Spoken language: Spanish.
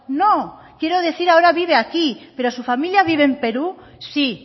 no no quiero decir que ahora vivo aquí pero su familia vive en perú sí